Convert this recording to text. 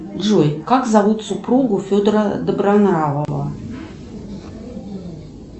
джой как зовут супругу федора добронравова